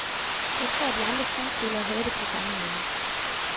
Jeg tror, de andre skuespillere havde det på samme måde.